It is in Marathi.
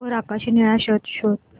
वर आकाशी निळा शर्ट शोध